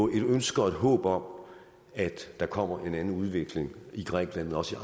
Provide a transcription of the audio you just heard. ønske og et håb om at der kommer en anden udvikling i grækenland og også